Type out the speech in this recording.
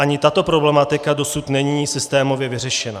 Ani tato problematika dosud není systémově vyřešena.